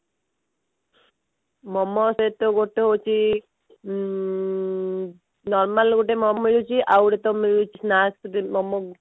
ମୋମୋ ସହିତ ଗୋଟେ ହଉଛି ଉଁ normal ତ ଗୋଟେ ମୋମୋ ମିଳୁଛି ଆଉ ଗୋଟେ ତ ମିଳୁଛି ମୋମୋ